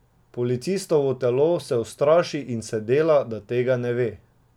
Policistovo telo se ustraši in se dela, da tega ne ve.